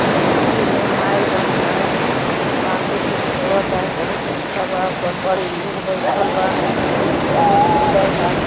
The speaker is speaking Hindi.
नदी में नाई बा। नाई बांसे से खेवता। बहुत अच्छा बा। ओपर बड़ी लोग बईठल बा। बहुत सुदर बा।